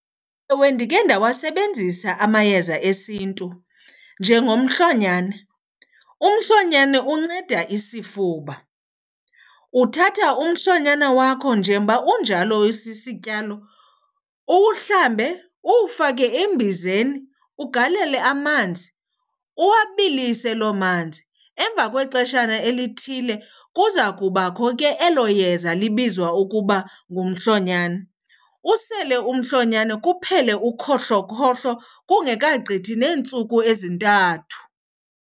Ewe, ndikhe ndawasebenzisa amayeza esiNtu, njengomhlonyana. Umhlonyane unceda isifuba. Uthatha umhlonyana wakho njengoba unjalo usisityalo uwuhlambe, uwufake embizeni, ugalele amanzi, uwabilise loo manzi. Emva kwexeshana elithile kuza kubakho ke elo yeza libizwa ukuba ngumhlonyana. Usele umhloyana kuphele ukhohlokhohlo kungekagqithi neentsuku ezintathu.